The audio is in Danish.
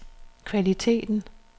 kvaliteten